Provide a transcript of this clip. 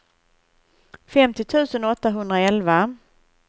femtio tusen åttahundraelva